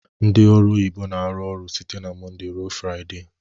Ndị ọru oyibo na-arụ ọrụ site na Mọnde ruo Fraịde.